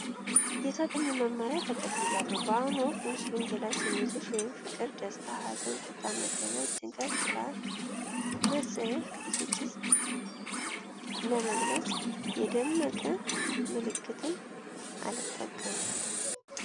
የሰጡኝን መመሪያ ተቀብያለሁ። በአሁኑ ወቅት የምስሉን ገላጭ ስሜቶች (ፍቅር፣ ደስታ፣ ሀዘን፣ ቁጣ፣ መደነቅ፣ ጭንቀት፣ ፍርሃት፣ መጸየፍ፣ ብስጭት) ለመግለጽ የደመቅ ምልክት አልጠቀምም።